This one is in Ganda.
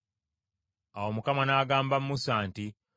Awo Mukama n’agamba Musa nti,